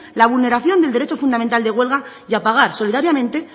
la vulneración del derecho fundamental de huelga y pagar solidariamente